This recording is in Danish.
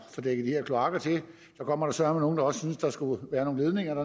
kloakker til så kommer der søreme nogle der også synes der skulle være nogle ledninger